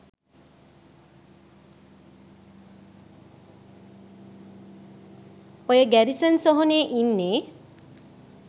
ඔය ගැරිසන් සොහොනේ ඉන්නේ